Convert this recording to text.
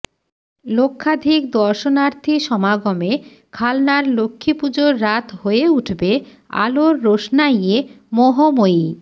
লক্ষাধিক দর্শনার্থী সমাগমে খালনার লক্ষ্মীপুজোর রাত হয়ে উঠবে আলোর রোশনাইয়ে মোহময়ী